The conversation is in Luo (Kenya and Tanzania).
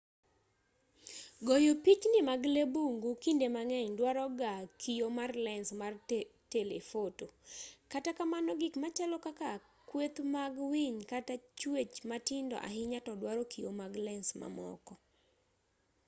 goyo pichni mag lee bungu kinde mang'eny dwaro ga kio mar lens mar telefoto kata kamano gik machalo kaka kweth mag winy kata chwech matindo ahinya to dwaro kio mag lens mamoko